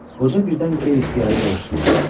Qoca birdən qeyri-ixtiyari doluqsundu.